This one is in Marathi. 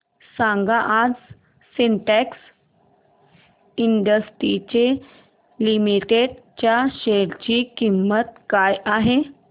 सांगा आज सिन्टेक्स इंडस्ट्रीज लिमिटेड च्या शेअर ची किंमत काय आहे